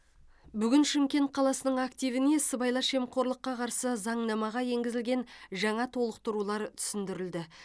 бүгін шымкент қаласының активіне сыбайлас жемқорлыққа қарсы заңнамаға енгізілген жаңа толықтырулар түсіндірілді